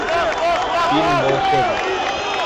фильм волшебник